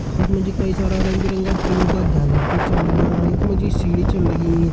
यख मा जी कई सारा रंग बिरंगा फूलों का झालर कर छन लग्यां यख मा जी सीढ़ी छन लगीं।